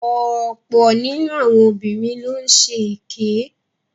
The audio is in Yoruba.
Ọ̀pọ̀ nínu àwọn obìnrin ló ń ṣe èké.